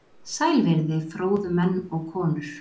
Sæl verið þið, fróðu menn og konur!